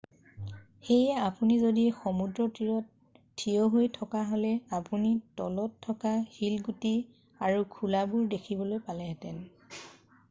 সেয়ে আপুনি যদি সমুদ্ৰতীৰত থিয় হৈ থকাহ'লে আপুনি তলত থকা শিলগুটি আৰু খোলাবোৰ দেখিবলৈ পালেহেঁতেন